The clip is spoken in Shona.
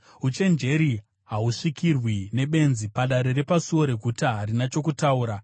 Uchenjeri hahusvikirwi nebenzi; padare repasuo reguta harina chokutaura.